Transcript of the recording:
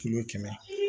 Kilo kɛmɛ